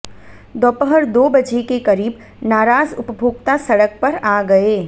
दोपहर दो बजे के करीब नाराज उपभोक्ता सड़क पर आ गये